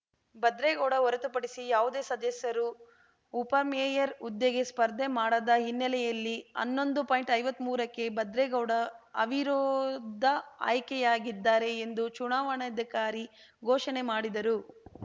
ಭದ್ರೇಗೌಡ ಹೊರತುಪಡಿಸಿ ಯಾವುದೇ ಸದಸ್ಯರು ಉಪಮೇಯರ್‌ ಹುದ್ದೆಗೆ ಸ್ಪರ್ಧೆ ಮಾಡದ ಹಿನ್ನೆಲೆಯಲ್ಲಿ ಹನ್ನೊಂದುಐವತ್ಮೂರಕ್ಕೆ ಭದ್ರೇಗೌಡ ಅವಿರೋಧ ಆಯ್ಕೆಯಾಗಿದ್ದಾರೆ ಎಂದು ಚುನಾವಣಾಧಿಕಾರಿ ಘೋಷಣೆ ಮಾಡಿದರು